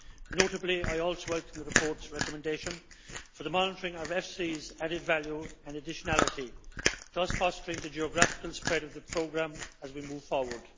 Notably, I also welcome the report's recommendation for the monitoring of EFSI's added value and additionality, thus fostering the geographical spread of the programme as we move forward.